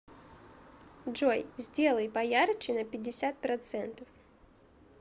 джой сделай поярче на пятьдесят процентов